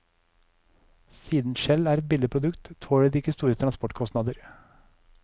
Siden skjell er et billig produkt, tåler de ikke store transportkostnader.